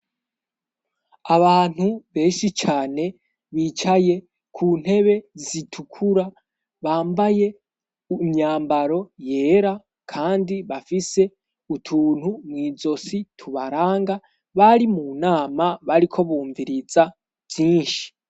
Abantu benshi cane bicaye ku ntebe zitukura bambaye imyambaro yera kandi bafise utuntu mw'izosi tubaranga bari mu nama bariko bumviriza vyinshi.